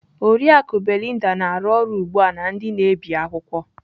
Oriakụ Belinda na-arụ ọrụ ugbu a na ndị na-ebi akwụkwọ.